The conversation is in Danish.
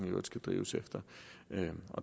øvrigt skal drives efter